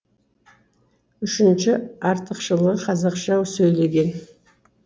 үшінші артықшылы қазақша сөйлеген